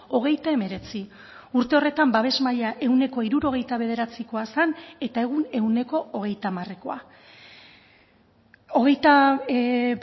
hogeita hemeretzi urte horretan babes maila ehuneko hirurogeita bederatzikoa zen eta egun ehuneko hogeita hamarekoa hogeita